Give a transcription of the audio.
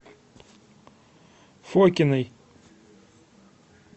фокиной